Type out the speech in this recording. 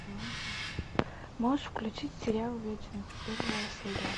можешь включить сериал вечность первая серия